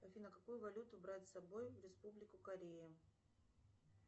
афина какую валюту брать с собой в республику корея